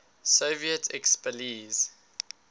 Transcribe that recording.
soviet expellees